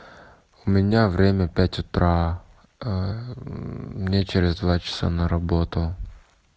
у меня время пять утра мне через два часа на работу